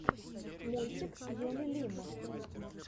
мультик юны лим